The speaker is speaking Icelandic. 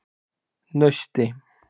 Nausti